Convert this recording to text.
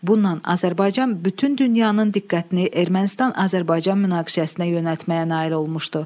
Bununla Azərbaycan bütün dünyanın diqqətini Ermənistan-Azərbaycan münaqişəsinə yönəltməyə nail olmuşdu.